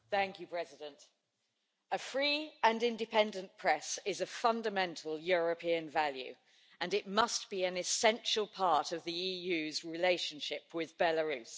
Mr President, a free and independent press is a fundamental European value, and it must be an essential part of the EU's relationship with Belarus.